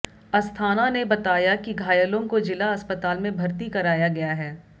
अस्थाना ने बताया कि घायलों को जिला अस्पताल में भर्ती कराया गया है